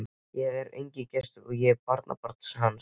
Ég er enginn gestur, ég er barnabarn hans.